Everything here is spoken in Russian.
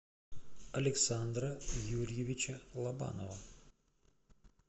александра юрьевича лобанова